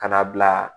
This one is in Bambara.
Ka n'a bila